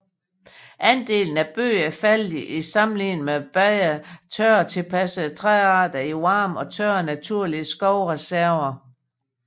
Andelen af bøg er faldet i sammenligning med bedre tørretilpassede træarter i varme og tørre naturlige skovreserver